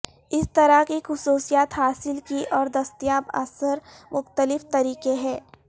اس طرح کی خصوصیات حاصل کی اور دستیاب اثر مختلف طریقے ہیں